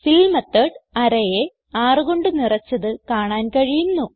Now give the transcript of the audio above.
ഫിൽ method arrayയെ 6 കൊണ്ട് നിറച്ചത് കാണാൻ കഴിയുന്നു